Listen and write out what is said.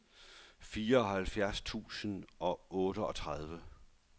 fireoghalvfjerds tusind og otteogtredive